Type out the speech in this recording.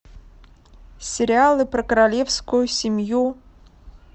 сериалы про королевскую семью